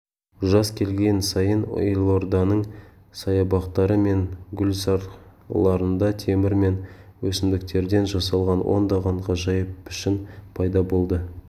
жаз келген сайын елорданың саябақтары мен гүлзарларында темір мен өсімдіктерден жасалған ондаған ғажайып пішін пайда болады